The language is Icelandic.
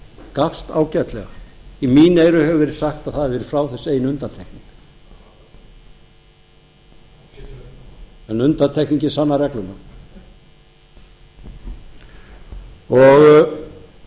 gafst ágætlega í mín eyru hefur verið sagt að það hafi verið frá þessu ein undantekning en undantekningin sannar regluna